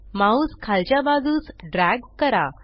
mouse खालच्या बाजूस drag करा